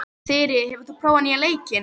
Þyri, hefur þú prófað nýja leikinn?